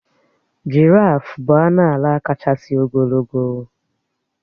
Jìráfù bụ anụ álà káchásị ogologo.